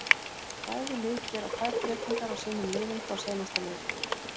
Bæði lið gera tvær breytingar á sínum liðum frá seinasta leik.